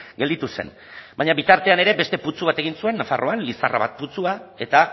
gelditu zen baina bitartean ere beste putzu bat egin zuen nafarroan lizarra bat putzua eta